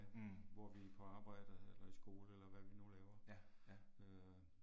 Mh. Ja, ja